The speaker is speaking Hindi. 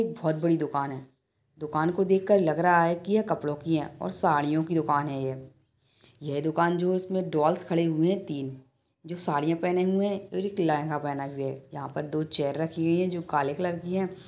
बहुत बड़ी दुकान है दुकान को देख कर लग रहा है कि यह कपड़ों की है और साड़ियों की दुकान है ये यह दुकान जो है इसमें डोल्स खड़ी हुई है तीन जो सड़ीया पहने हुए है और एक लेहेंगा पहना हुआ है यहां पर दो चेयर रखी हुई है जो काले कलर की है।